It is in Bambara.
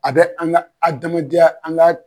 A bɛ an ka adamadenya an ka